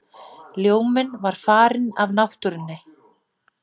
Ljóminn er farinn af náttúrunni.